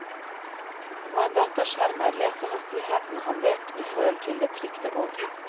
På en dataskjerm er lesehastigheten halvert i forhold til det trykte ord.